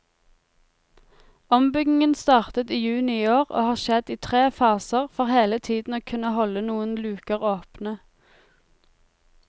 Ombyggingen startet i juni i år og har skjedd i tre faser for hele tiden å kunne holde noen luker åpne.